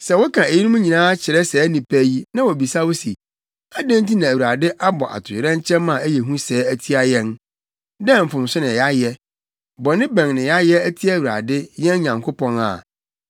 “Sɛ woka eyinom nyinaa kyerɛ saa nnipa yi na wobisa wo se, ‘Adɛn nti na Awurade abɔ atoyerɛnkyɛm a ɛyɛ hu sɛɛ atia yɛn? Dɛn mfomso na yɛayɛ? Bɔne bɛn na yɛayɛ atia Awurade, yɛn Nyankopɔn’ a,